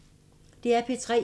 DR P3